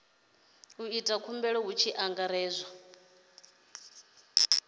ita khumbelo hu tshi angaredzwa